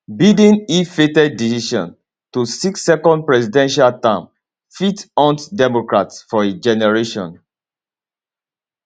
biden illfated decision to seek second presidential term fit haunt democrats for a generation